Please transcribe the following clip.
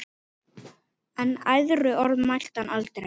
En æðruorð mælti hann aldrei.